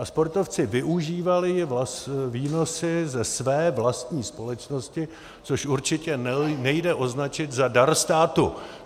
A sportovci využívali výnosy ze své vlastní společnosti, což určitě nejde označit za dar státu.